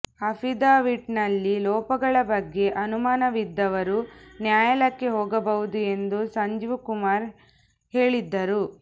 ಅಫಿಡವಿಟ್ನಲ್ಲಿನ ಲೋಪಗಳ ಬಗ್ಗೆ ಅನುಮಾನವಿದ್ದವರು ನ್ಯಾಯಾಲಯಕ್ಕೆ ಹೋಗಬಹುದು ಎಂದು ಸಂಜೀವ್ಕುಮಾರ್ ಹೇಳಿದ್ದರು